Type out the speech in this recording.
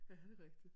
Ja det er rigtigt